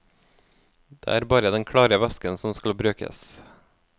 Det er bare den klare væsken som skal brukes.